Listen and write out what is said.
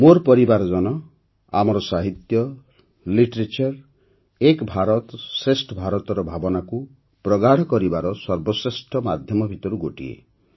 ମୋର ପରିବାରଜନ ଆମର ସାହିତ୍ୟ ଏକ ଭାରତଶ୍ରେଷ୍ଠ ଭାରତର ଭାବନାକୁ ପ୍ରଗାଢ଼ କରିବାର ସର୍ବଶ୍ରେଷ୍ଠ ମାଧ୍ୟମ ଭିତରୁ ଗୋଟିଏ